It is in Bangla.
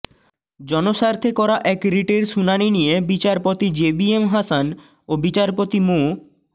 জনস্বার্থে করা এক রিটের শুনানি নিয়ে বিচারপতি জেবিএম হাসান ও বিচারপতি মো